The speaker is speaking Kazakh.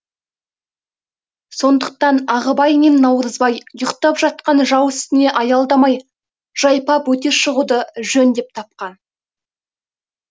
сондықтан ағыбай мен наурызбай ұйықтап жатқан жау үстіне аялдамай жайпап өте шығуды жөн деп тапқан